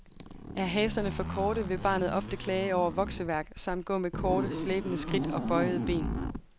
Er haserne for korte vil barnet ofte klage over vokseværk, samt gå med korte, slæbende skridt og bøjede ben.